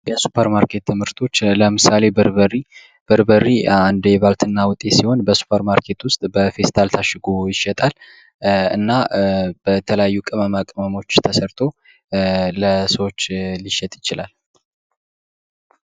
የሱፐርማርኬት ምርቶች ለዕምሳሌ በርበሬ በርበሬ አንዱ ባልትና ውጤት ሲሆን በሱፐር ማርኬት ውስጥ በፌስታል ታሽጎ ይሸጣል። እና በተለያዩ ቅመማቅመሞች ተሰርቶ ለሰዎች ሊሸጥ ይችላል።